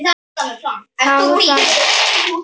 Var það vel.